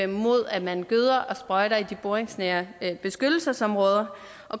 mod at man gøder og sprøjter i de boringsnære beskyttelsesområder